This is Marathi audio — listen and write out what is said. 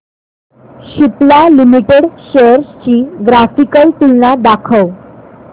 सिप्ला लिमिटेड शेअर्स ची ग्राफिकल तुलना दाखव